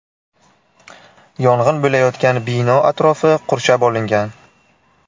Yong‘in bo‘layotgan bino atrofi qurshab olingan.